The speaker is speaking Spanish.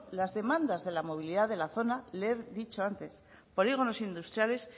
las demandas de la movilidad de la zona le he dicho antes polígonos industriales